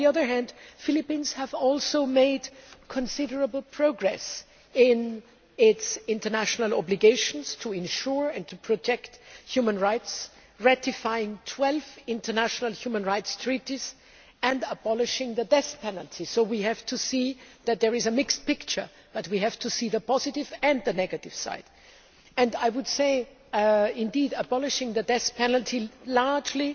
However, the Philippines has made considerable progress in its international obligations to ensure and to protect human rights, ratifying 12 international human rights treaties and abolishing the death penalty, largely